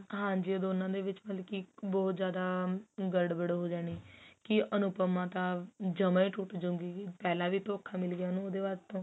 ਹਾਂਜੀ ਉਹ ਦੋਨਾ ਦੇ ਵਿੱਚ ਮਤਲਬ ਕੀ ਬਹੁਤ ਜਿਆਦਾ ਗੜਬੜ ਹੋ ਜਾਣੀ ਕੀ ਅਨੁਪਮਾ ਤਾਂ ਜਮਾ ਹੀ ਟੁੱਟ ਜੁਗੀ ਪਹਿਲਾਂ ਵੀ ਉਹਨੂੰ ਉਹਦੇ ਬਾਅਦ ਤੋਂ